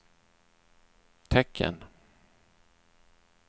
tecken